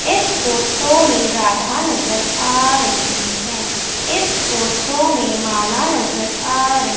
इस फोटो में राधा नजर आ रही है इस फोटो में माला नजर आ रही--